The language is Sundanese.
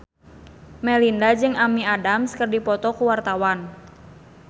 Melinda jeung Amy Adams keur dipoto ku wartawan